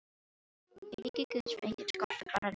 Í ríki Guðs var enginn skortur, bara nægtir.